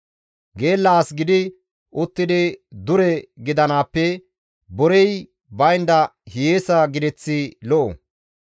Geella as gidi uttidi dure gidanaappe borey baynda hiyeesa gideththi lo7o.